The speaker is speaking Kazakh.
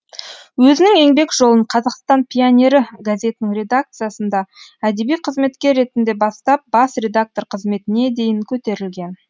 өзінің еңбек жолын қазақстан пионері газетінің редакциясында әдеби қызметкер ретінде бастап бас редактор қызметіне дейін көтерілген